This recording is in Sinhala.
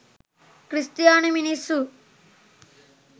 ක්‍රිස්තියානි මිනිස්සු